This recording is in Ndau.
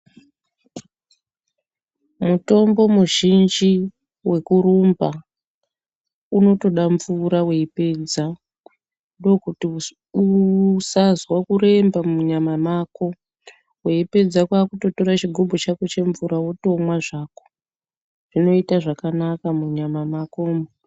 Mutombo muzhinji wekurumba unotoda mvura weipedza ndokuti usazwa kuremba munyama mako. Weipedza kwakutora chigubhu chemvura wotomwa zvako zvinoita zvakanaka munyama makomwo.